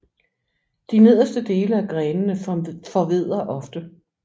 De nederste dele af grenene forvedder ofte